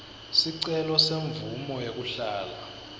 sicelo semvumo yekuhlala